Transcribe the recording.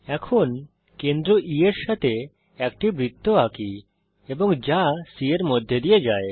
এখন কেন্দ্র E এর সঙ্গে একটি বৃত্ত আঁকি এবং যা C এর মধ্যে দিয়ে যায়